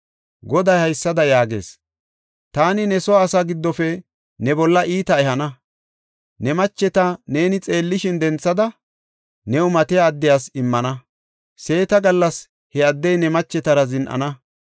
Goday haysada yaagees; “Taani ne soo asaa giddofe ne bolla iita ehana; ne macheta neeni xeellishin denthada, new matiya addiyas immana; seeta gallas he addey ne machetara zin7ana.